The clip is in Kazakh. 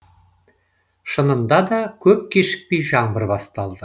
шынында да көп кешікпей жаңбыр басталды